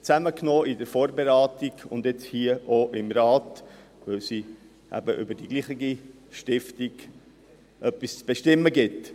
Wir haben diese in der Vorberatung und jetzt auch hier im Rat ganz bewusst zusammengenommen, weil es eben über dieselbe Stiftung etwas zu bestimmen gibt.